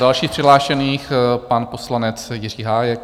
Další přihlášený, pan poslanec Jiří Hájek.